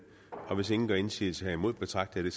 og hvis ingen gør indsigelse herimod betragter jeg